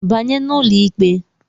Banye n'ụlọ ikpe!